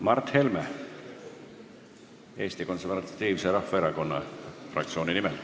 Mart Helme Eesti Konservatiivse Rahvaerakonna fraktsiooni nimel.